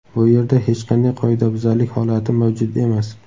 Bu yerda hech qanday qoidabuzarlik holati mavjud emas.